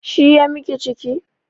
Shi ya miki ciki?